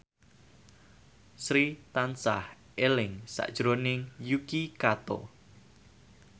Sri tansah eling sakjroning Yuki Kato